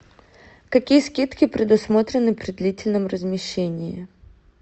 какие скидки предусмотрены при длительном размещении